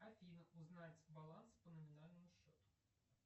афина узнать баланс по номинальному счету